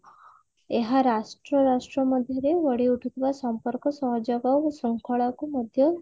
ଏହା ରାଷ୍ଟ୍ର ରାଷ୍ଟ୍ର ମଧ୍ୟରେ ଗଢିଉଠିଥିବା ସମ୍ପର୍କ ସହଯୋଗ ଓ ଶୃଙ୍ଖଳା କୁ ମଧ୍ୟ